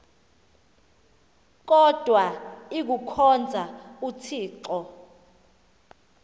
kodwa ikuhkhonza uthixo